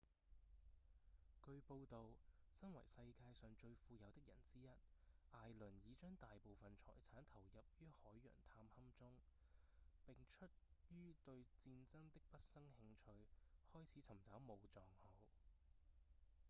據報導身為世界上最富有的人之一艾倫已將大部分財產投入於海洋探勘中並出於對戰爭的畢生興趣開始尋找武藏號